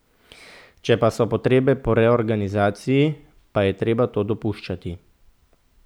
Če pa so potrebe po reorganizaciji, pa je treba to dopuščati.